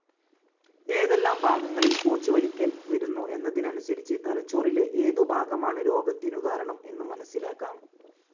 ഏതെല്ലാം ഭാഗങ്ങളിൽ കോച്ചിവലിക്കൽ വരുന്നു എന്നതനുസരിച്ച് തലച്ചോറിലെ ഏതു ഭാഗമാണ് രോഗത്തിനു കാരണം എന്നു മനസ്സിലാക്കാം.